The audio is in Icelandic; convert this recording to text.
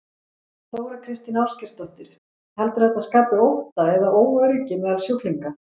Þóra Kristín Ásgeirsdóttir: Heldurðu að þetta skapi ótta eða óöryggi meðal sjúklinga?